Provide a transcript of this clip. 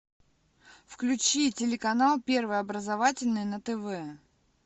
включи телеканал первый образовательный на тв